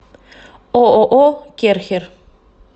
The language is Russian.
ооо керхер